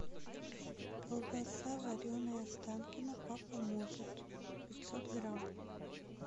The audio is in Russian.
колбаса вареная останкино папа может пятьсот грамм